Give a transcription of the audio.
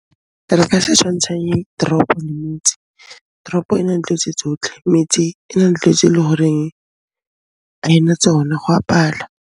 Re ka se tshwantshanye tropo le motse. Teropo e na le dilo tse tsotlhe, metse na le dilo tse e le horeng ha e na tsona, go a pala.